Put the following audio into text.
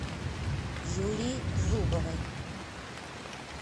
юлии зубовой